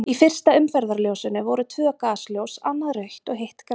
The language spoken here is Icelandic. Í fyrsta umferðarljósinu voru tvö gasljós, annað rautt og hitt grænt.